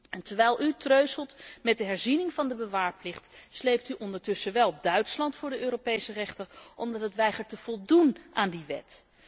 En terwijl u treuzelt met de herziening van de bewaarplicht sleept u ondertussen wel Duitsland voor de Europese rechter, omdat het weigert te voldoen aan die wet.